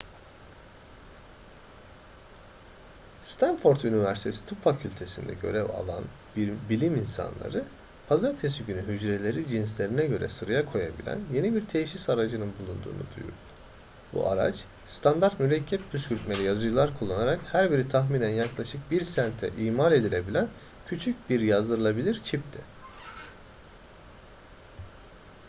stanford üniversitesi tıp fakültesi'nde görev alan bilim insanları pazartesi günü hücreleri cinslerine göre sıraya koyabilen yeni bir teşhis aracının bulunduğunu duyurdu bu araç standart mürekkep püskürtmeli yazıcılar kullanılarak her biri tahminen yaklaşık bir sente imal edilebilen küçük bir yazdırılabilir çipti